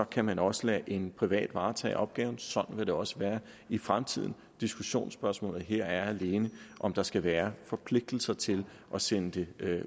kan den også lade en privat varetage opgaven sådan vil det også være i fremtiden diskussionsspørgsmålet her er alene om der skal være forpligtelser til at sende det